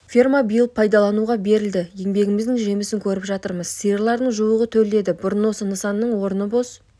ферма биыл пайдалануға берілді еңбегіміздің жемісін көріп жатырмыз сиырлардың жуығы төлдеді бұрын осы нысанның орны бос